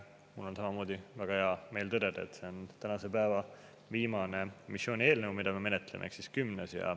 Mul on samamoodi väga hea meel tõdeda, et see on tänase päeva viimane missioonieelnõu, mida me menetleme, ehk siis kümnes.